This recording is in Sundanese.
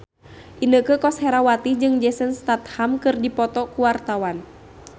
Inneke Koesherawati jeung Jason Statham keur dipoto ku wartawan